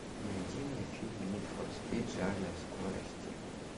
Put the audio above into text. найди мне фильм нид фор спид жажда скорости